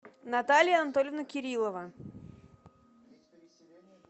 наталья анатольевна кириллова